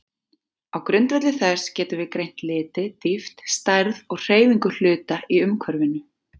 Á grundvelli þess getum við greint liti, dýpt, stærð og hreyfingu hluta í umhverfinu.